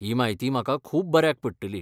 ही म्हायती म्हाका खूब बऱ्याक पडटली.